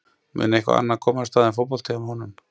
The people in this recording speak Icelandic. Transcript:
Mun eitthvað annað komast að en fótbolti hjá honum?